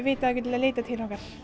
vita að þau geta leitað til okkar